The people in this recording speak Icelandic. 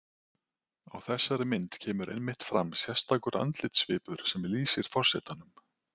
Á þessari mynd kemur einmitt fram sérstakur andlitssvipur sem lýsir forsetanum.